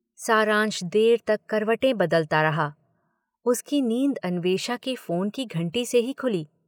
सारांश देर तक करवटें बदलता रहा – उसकी नींद अन्वेषा के फोन की घंटी से ही खुली।